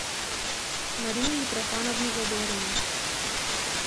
марию митрофановну задорину